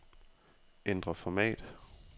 Ændr format.